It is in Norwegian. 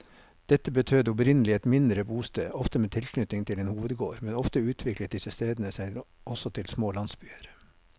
Dette betød opprinnelig et mindre bosted, ofte med tilknytning til en hovedgård, men ofte utviklet disse stedene seg også til små landsbyer.